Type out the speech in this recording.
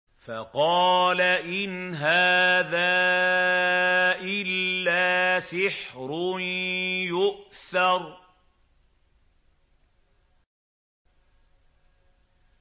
فَقَالَ إِنْ هَٰذَا إِلَّا سِحْرٌ يُؤْثَرُ